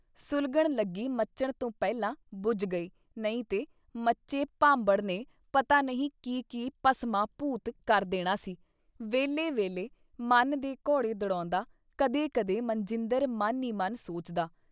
ਸੁਲਘਣ ਲੱਗੀ ਮਚਣ ਤੋਂ ਪਹਿਲਾਂ ਬੁਝ ਗਈ ਨਹੀਂ ਤੇ ਮਚੇ ਭਾਂਬੜ ਨੇ ਪਤਾ ਨਹੀਂ ਕੀ-ਕੀ ਭਸਮਾਂ - ਭੂਤ ਕਰ ਦੇਣਾ ਸੀ? ਵੇਹਲੇ ਵੇਲੇ ਮਨ ਦੇ ਘੋੜੇ ਦੜੌਦਾ ਕਦੇ ਕਦੇ ਮਨਜਿੰਦਰ ਮਨ ਈ ਮਨ ਸੋਚਦਾ।